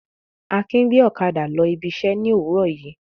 Akin gbé ọ̀kadà lọ ibi iṣẹ́ ní òwúrọ̀ yìí.